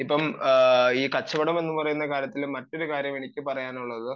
ഈ കച്ചവടം എന്ന് പറയുന്ന കാര്യത്തിൽ മറ്റൊരു കാര്യം എനിക്ക് പറയാനുള്ളത്